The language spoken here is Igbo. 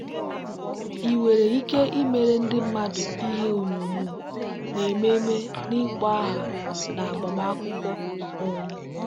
ị nwere ike imere ndị mmadụ ihe onyonyo n'ememe n'ịkpọ aha na agbamakwụkwọ. um